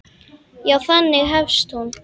Já, þannig hefst hún.